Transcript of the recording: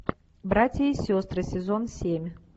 братья и сестры сезон семь